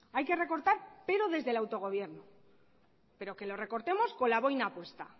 hay que recortar pero desde el autogobierno pero que lo recortemos con la boina puesta